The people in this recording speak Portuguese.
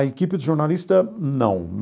A equipe de jornalista, não.